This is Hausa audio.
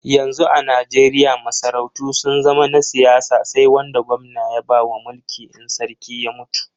Yanzu a Najeriya masarautu sun zama na siyasa sai wanda gwamna ya bawa mulki in sarki ya mutu.